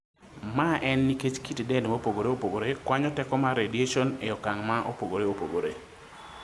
ma en nikech kit dend mopogore opogore kwanyo teko mar radiation e okang' ma opogore opogore